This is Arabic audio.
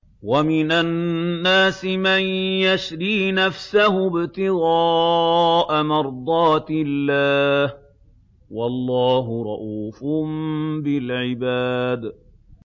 وَمِنَ النَّاسِ مَن يَشْرِي نَفْسَهُ ابْتِغَاءَ مَرْضَاتِ اللَّهِ ۗ وَاللَّهُ رَءُوفٌ بِالْعِبَادِ